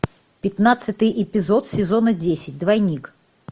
пятнадцатый эпизод сезона десять двойник